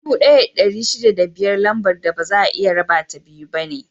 Dubu ɗaya da ɗari shida da biyar Lambar da baza a iya rabata biyu ne.